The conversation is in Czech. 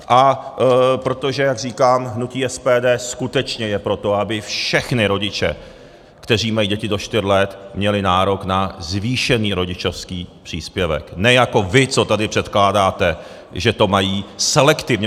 A protože, jak říkám, hnutí SPD skutečně je pro to, aby všichni rodiče, kteří mají děti do čtyř let, měli nárok na zvýšený rodičovský příspěvek, ne jako vy, co tady předkládáte, že to mají selektivně.